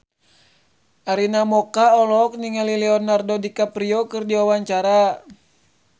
Arina Mocca olohok ningali Leonardo DiCaprio keur diwawancara